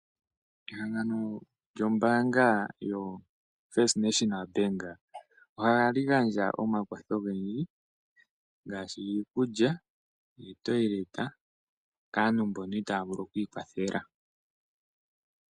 Ehangano lyombaanga yoFirst National Bank ohali gandja omakwatho ogendji ngaashi iikulya, oombapila dhokokandjugo kaantu mbono itaya vulu oku ikwathela.